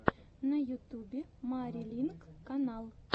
на ютюбе мари линк канал